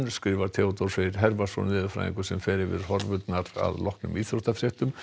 Theodór Freyr Hervarsson veðurfræðingur fer yfir horfurnar að afloknum íþróttafréttum